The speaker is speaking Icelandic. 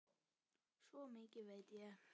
Svo mikið veit ég.